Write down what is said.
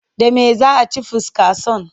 Da me za a ci funkason?